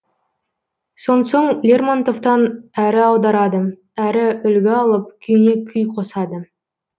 сонсоң лермонтовтан әрі аударады әрі үлгі алып күйіне күй қосады